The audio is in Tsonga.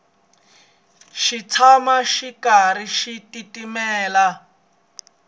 xi tshama xi karhi xi titimela